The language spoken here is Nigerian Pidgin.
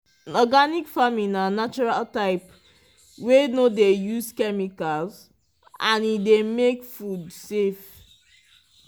organic farming na natural type wey no dey use chemicals and e dey make food safe.